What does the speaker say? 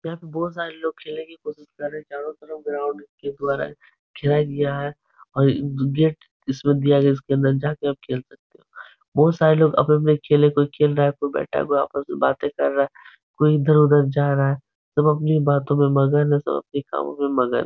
यहाँ पे बहोत सारे लोग खेलने की कोशिश कर रहे हैं। चारो तरफ ग्राउंड के द्वारा है और गेट दिया गया है जिसके अंदर जाके आप खेल सकते हो। बहोत सारे लोग अपने-अपने खेल में खेल रहा है कोई बैठा हुआ है कोई आपस में बाते कर रहा है। कोई इधर-उधर जा रहा है। सब अपनी बातो में मगन है सब अपनी कामो में मगन हैं।